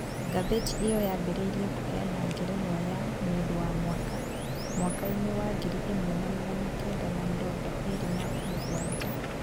Ngathĩti ĩyo yambĩrĩirie kũheana ngerenũa ya "Mũndũ wa Mwaka" mwaka-inĩ wangiri ĩmwe na magana kenda ma mĩrongo ĩrĩ na mũgwanja.